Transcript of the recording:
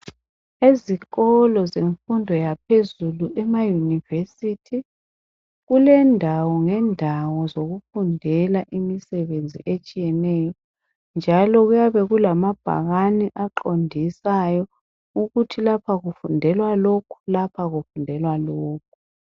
Ezikolo zemfundo yaphezulu emaYunivesi kulendawo ngendawo zokufundela imisebenzi etshiyeneyo njalo kuyabe kulamabhakani aqondisayo ukuthi lapha kufndelwa lokhu, lapha kufundelwa lokhu.